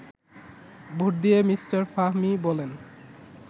vote দিয়ে mister Fahmi বলেন